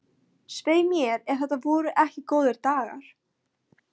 Svei mér ef þetta voru ekki góðir dagar.